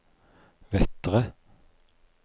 Vettre